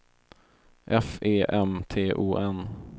F E M T O N